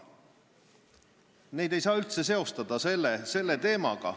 Neid ei saa üldse selle teemaga seostada.